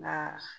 Nka